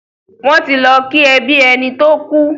Wọ́n ti lọ kí ẹbí ẹni tó kú.